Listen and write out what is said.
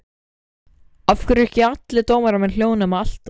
Af hverju eru ekki allir dómarar með hljóðnema alltaf?